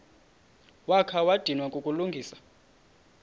wakha wadinwa kukulungisa